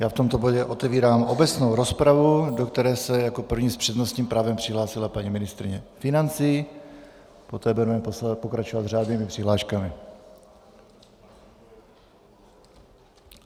Já v tomto bodě otevírám obecnou rozpravu, do které se jako první s přednostním právem přihlásila paní ministryně financí, poté budeme pokračovat s řádnými přihláškami.